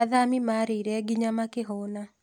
Athami mareĩre nginya makĩhuna